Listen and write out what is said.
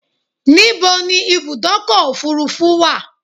Níbo ni Ibùdọ́kọ̀ òfurufú wa?